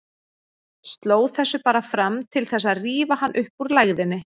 Sló þessu bara fram til þess að rífa hann upp úr lægðinni.